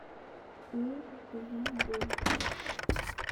ыйджонбу